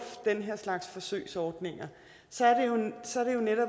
den her slags forsøgsordninger